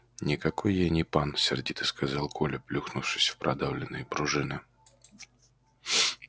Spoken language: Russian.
никакой я не пан сердито сказал коля плюхнувшись в продавленные пружины